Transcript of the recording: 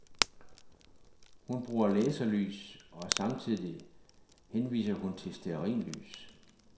Hun bruger laserlys, og samtidig henviser hun til stearinlys.